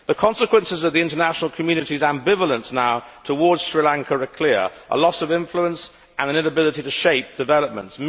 The consequences now of the international community's ambivalence towards Sri Lanka are clear a loss of influence and an inability to shape developments.